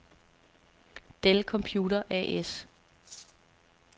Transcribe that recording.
Dell Computer A/S